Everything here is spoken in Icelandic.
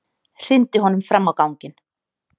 Hrindi honum fram á ganginn.